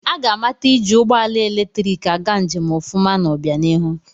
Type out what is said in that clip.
Aga amata iji ụgbọala eletiriki aga njem ọfụma n'obịanihu.